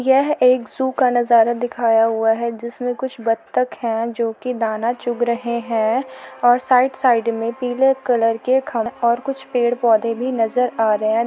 यह एक जू का नजारा दिखाया हुआ है जिसमें कुछ बत्तख हैं जोकि दाना चुंग रहे हैं और साइड-साइड में पीले कलर के-खड़े और कुछ पेड़-पौधे भी नजर आ रहे हैं।